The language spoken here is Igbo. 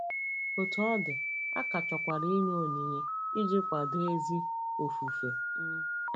Otú ọ dị, a ka chọkwara inye onyinye iji kwado ezi ofufe. um